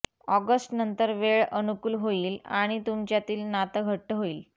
ऑगस्टनंतर वेळ अनुकूल होईल आणि तुमच्यातील नातं घट्ट होईल